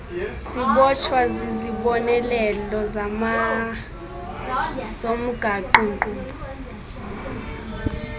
zibotshwa zizibonelelo zomgaqonkqubo